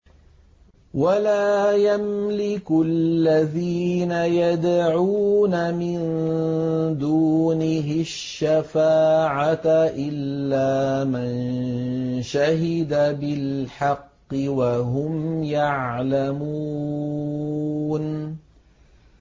وَلَا يَمْلِكُ الَّذِينَ يَدْعُونَ مِن دُونِهِ الشَّفَاعَةَ إِلَّا مَن شَهِدَ بِالْحَقِّ وَهُمْ يَعْلَمُونَ